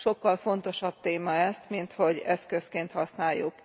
Sokkal fontosabb téma ez, minthogy eszközként használjuk.